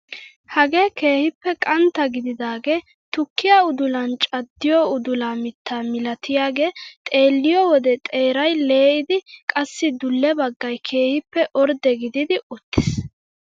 Hagee keehippe qantta gididagee tukkiyaa udulan caddiyoo udula mittaa milatiyaagee xeelliyoo wode xeeray lee'idi qassi dulle baggay keehippe ordde gidid uttiis.